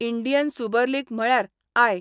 Indian super league म्हळयार I.